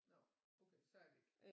Nå okay så er det ikke